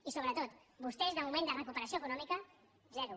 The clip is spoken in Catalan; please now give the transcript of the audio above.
i sobretot vostès de moment de recuperació econòmica zero